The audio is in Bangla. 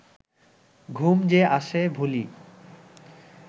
ঘুম যে আসে ভূলি